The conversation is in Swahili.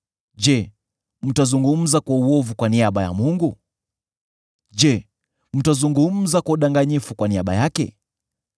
Je, mtazungumza kwa uovu kwa niaba ya Mungu? Je, mtazungumza kwa udanganyifu kwa niaba yake?